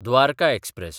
Dwarka express